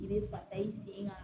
I bɛ fasa i sen kan